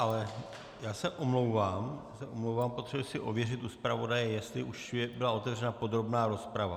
Ale já se omlouvám, potřebuji si ověřit u zpravodaje, jestli už byla otevřena podrobná rozprava.